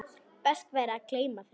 Best væri að gleyma þeim.